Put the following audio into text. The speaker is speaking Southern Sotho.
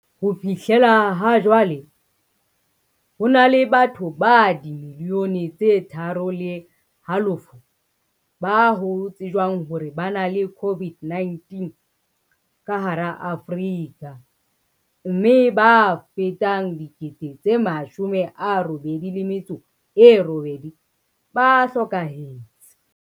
Ho fihlela hajwale, ho na le batho ba dimiliyone tse tharo le halofo ba ho tsejwang hore ba na le COVID-19 ka hara Afrika, mme ba fetang 88 000 ba hlokahetse.